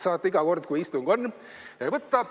Saate iga kord, kui istung on, võtta.